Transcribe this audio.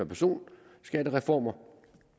personskattereformer